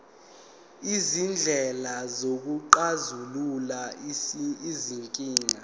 izindlela zokuxazulula izinkinga